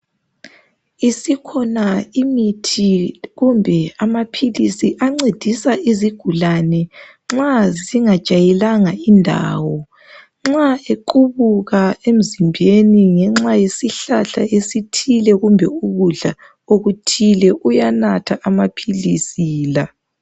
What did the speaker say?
Isikhona imithi kumbe amaphilisi ancedisa izigulane nxa zingajayelanga indawo. Nxa equbuka emzimbeni ngenxa yesihlahla esithile kumbe ukudla okuthile uyanatha amaphilisi la.